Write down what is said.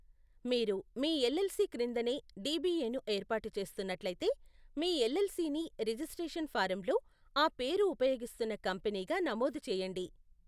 మీరు మీ ఎల్ఎల్సి క్రిందనే డిబిఎ ను ఏర్పాటు చేస్తున్నట్లయితే, మీ ఎల్ఎల్సిని రిజిస్ట్రేషన్ ఫారంలో ఆ పేరు ఉపయోగిస్తున్న కంపనీగా నమోదు చేయండి.